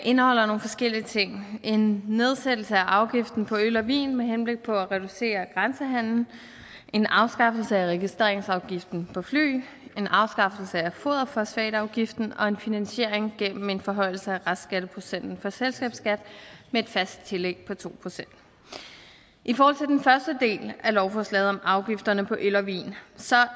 indeholder nogle forskellige ting en nedsættelse af afgiften på øl og vin med henblik på at reducere grænsehandelen en afskaffelse af registreringsafgiften på fly en afskaffelse af foderfosfatafgiften og en finansiering gennem en forhøjelse af restskatteprocenten for selskabsskat med et fast tillæg på to procent i forhold til den første del af lovforslaget om afgifterne på øl og vin